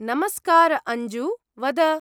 नमस्कार अञ्जु! वद।